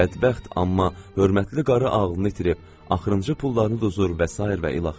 Bədbəxt amma hörmətli qarı ağlını itirib, axırıncı pullarını da uzur və sairə və ilaxır.